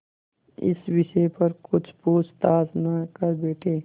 इस विषय पर कुछ पूछताछ न कर बैठें